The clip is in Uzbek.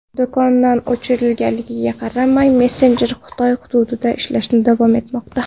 Do‘kondan o‘chirilganiga qaramay, messenjer Xitoy hududida ishlashda davom etmoqda.